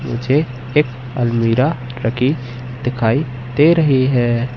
मुझे एक अलमीरा रखी दिखाई दे रही है।